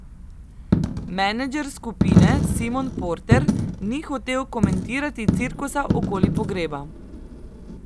Menedžer skupine Simon Porter ni hotel komentirati cirkusa okoli pogreba.